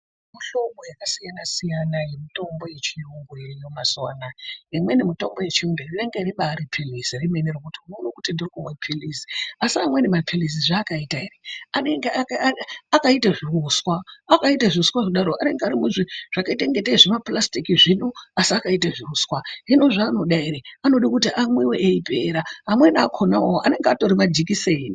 Kune mihlobo yakasiyanasiyana yemitombo yechiyungu iriyo mazuwa anaya. Imweni mitombo yechiyungu rinenge ribaari pirizi remene rekuti unode kutendekuona pirizi; asi amweni mapirizi zvaakaita ere anenge akaite zviuswa akaite zviuswa kudaro anenge ari muzviro zvakaita ingatei zvimapurasitiki zvino asi akaite zviuswa hino zvaanoda eree anoda kuti amwiwe eipera .Amweni akhona awawo anenge atori majikiseni.